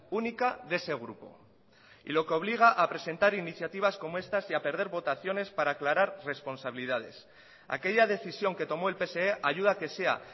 única de ese grupo y lo que obliga a presentar iniciativas como estas y a perder votaciones para aclarar responsabilidades aquella decisión que tomó el pse ayuda a que sea